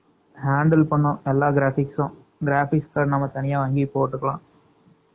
handle பன்னனும் எல்லா graphics உம் graphic card தனியா வாஙகி பொட்டுக்கலாம்